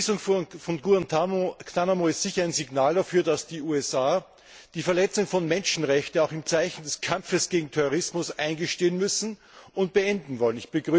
Die Schließung von Guantánamo ist sicher ein Signal dafür, dass die USA die Verletzung von Menschenrechten auch im Zeichen des Kampfes gegen den Terrorismus eingestehen müssen und beenden wollen.